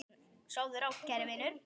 Sofðu rótt, kæri vinur.